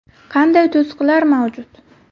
Qanday to‘siqlar mavjud?